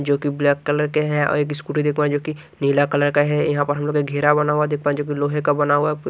जोकि black colour के हैं और एक स्कूटी देख पा रहे जो कि नीला कलर का है यहां पर हम लोग एक घेरा बना हुआ देख पा रहे जोकि लोहे का बना हुआ--